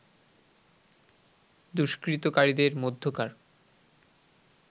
দুষ্কৃতকারীদের মধ্যকার